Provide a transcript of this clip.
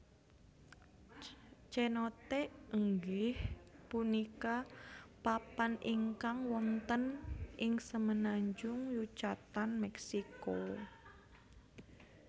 Cenote inggih punika papan ingkang wonten ing semenanjung Yucatan Mèksiko